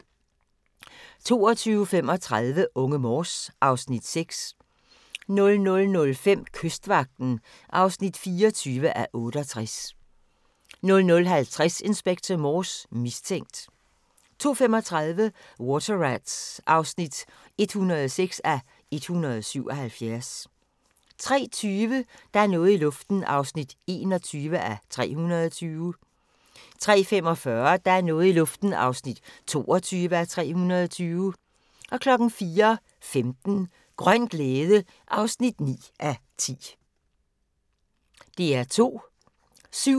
22:35: Unge Morse (Afs. 6) 00:05: Kystvagten (24:68) 00:50: Inspector Morse: Mistænkt 02:35: Water Rats (106:177) 03:20: Der er noget i luften (21:320) 03:45: Der er noget i luften (22:320) 04:15: Grøn glæde (9:10)